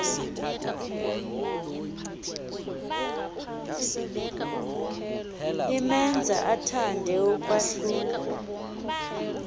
imenza athande ukwahluka